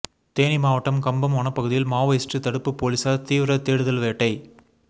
தேனி மாவட்டம் கம்பம் வனப்பகுதியில் மாவோயிஸ்ட் தடுப்பு போலீசார் தீவிர தேடுதல் வேட்டை